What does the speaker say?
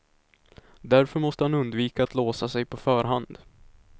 Därför måste han undvika att låsa sig på förhand.